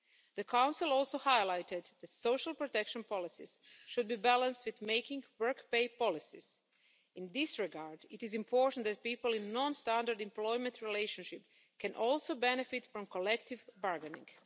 The Council also highlighted that social protection policies should be balanced with making work pay policies. In this regard, it is important that people in a non-standard employment relationship can also benefit from collective bargaining.